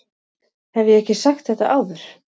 Hef ég ekki sagt þetta áður?